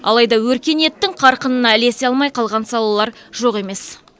алайда өркениеттің қарқынына ілесе алмай қалған салалар жоқ емес